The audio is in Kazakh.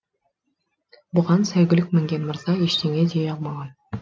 бұған сәйгүлік мінген мырза ештеңе дей алмаған